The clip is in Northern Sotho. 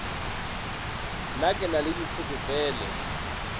na ke na le ditlhokofele